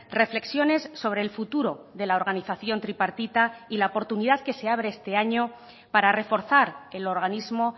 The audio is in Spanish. reflexiones sobre el futuro de la organización tripartita y la oportunidad que se abre este año para reforzar el organismo